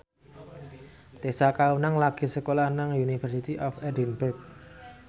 Tessa Kaunang lagi sekolah nang University of Edinburgh